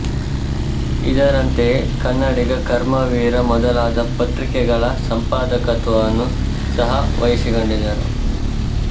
ಇದರಂತೆಯೆ ಕನ್ನಡಿಗ ಕರ್ಮವೀರ ಮೊದಲಾದ ಪತ್ರಿಕೆಗಳ ಸಂಪಾದಕತ್ವವನ್ನು ಸಹ ವಹಿಸಿಕೊಂಡಿದ್ದರು